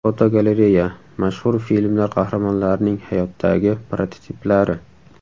Fotogalereya: Mashhur filmlar qahramonlarining hayotdagi prototiplari.